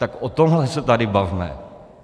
Tak o tomhle se tady bavme!